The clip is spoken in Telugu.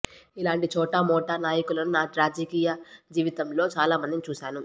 ఇలాంటి చోటామోటా నాయకులను నా రాజకీయ జీవితంలో చాలా మందిని చూశాను